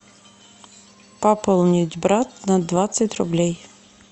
пополнить брат на двадцать рублей